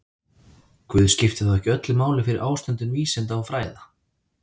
Guð skipti þó ekki öllu máli fyrir ástundun vísinda og fræða.